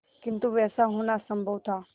किंतु वैसा होना असंभव था